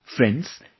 Friends,